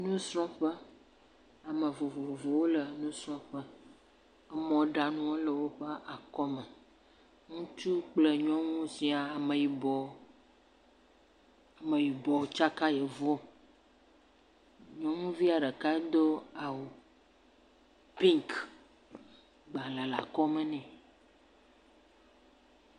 Nusrɔ̃ƒe. ame vovovowo le nusrɔ̃ƒe. mɔɖaŋuwo le woƒe akɔme. Ŋutsuwo kple nyɔnuwo siaa. Ameyibɔ Ameyibɔ tsaka Yevuwo. Nyɔnuvia ɖeka do awu piŋki. Agbalẽ le akɔme nɛ